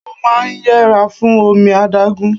Mo máa ń yẹra fún omi adágún.